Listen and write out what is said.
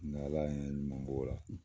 N' ala ye n ɲuman b' ola